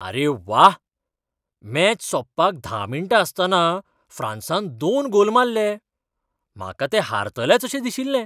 अरे व्वा! मॅच सोंपपाक धा मिण्टां आसतना फ्रांसान दोन गोल मारले! म्हाका ते हारतलेच अशें दिशिल्लें.